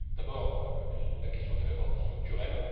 D'abord, la question des réformes structurelles.